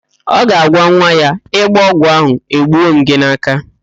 Ọ ga-agwa nwa ya, ị gbọọ ọgwụ ahụ, egbuo m gị n'áká